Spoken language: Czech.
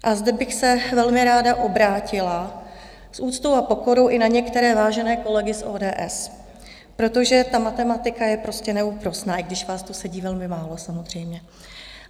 A zde bych se velmi ráda obrátila s úctou a pokorou i na některé vážené kolegy z ODS, protože ta matematika je prostě neúprosná, i když vás tu sedí velmi málo, samozřejmě.